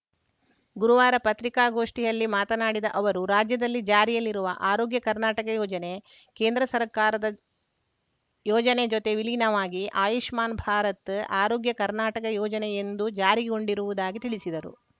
ಗುರುವಾರ ಪತ್ರಿಕಾಗೋಷ್ಠಿಯಲ್ಲಿ ಮಾತನಾಡಿದ ಅವರು ರಾಜ್ಯದಲ್ಲಿ ಜಾರಿಯಲ್ಲಿರುವ ಆರೋಗ್ಯ ಕರ್ನಾಟಕ ಯೋಜನೆ ಕೇಂದ್ರ ಸರ್ಕಾರದ ಯೋಜನೆ ಜತೆ ವಿಲೀನವಾಗಿ ಆಯುಷ್ಮಾನ್‌ ಭಾರತ್‌ ಆರೋಗ್ಯ ಕರ್ನಾಟಕ ಯೋಜನೆ ಎಂದು ಜಾರಿಗೊಂಡಿರುವುದಾಗಿ ತಿಳಿಸಿದರು